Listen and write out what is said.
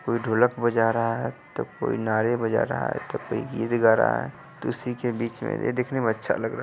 कोई ढोलक बजा रहा है तो कोई नारे बजा रहा है तो कोई गीत गा रहा है तो इसी के बीच में ये देखने अच्छा लग रहा --